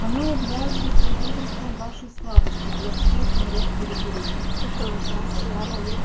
оно является свидетельством вашей слабости для всех миров периферии